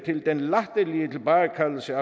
til